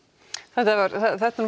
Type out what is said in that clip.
þetta er nú